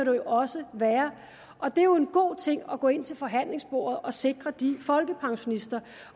jo også være det er jo en god ting at gå ind til forhandlingsbordet og sikre de folkepensionister